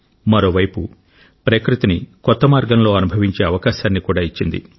మరోవైపు ప్రకృతిని కొత్త మార్గంలో అనుభవించే అవకాశాన్ని కూడా ఇచ్చింది